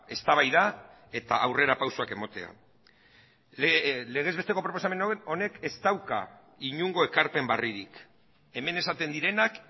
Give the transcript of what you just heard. eztabaida eta aurrerapausoak ematea legez besteko proposamen honek ez dauka inongo ekarpen berririk hemen esaten direnak